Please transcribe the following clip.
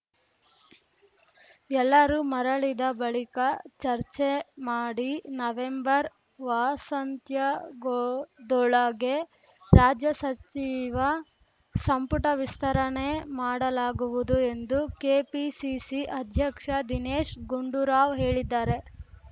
ಎಲ್ಲರೂ ಮರಳಿದ ಬಳಿಕ ಚರ್ಚೆ ಮಾಡಿ ನವೆಂಬರ್‌ ವಾಸಾಂತ್ಯಗೊದೊಳಗೆ ರಾಜ್ಯ ಸಚಿವ ಸಂಪುಟ ವಿಸ್ತರಣೆ ಮಾಡಲಾಗುವುದು ಎಂದು ಕೆಪಿಸಿಸಿ ಅಧ್ಯಕ್ಷ ದಿನೇಶ್‌ ಗುಂಡೂರಾವ್‌ ಹೇಳಿದ್ದಾರೆ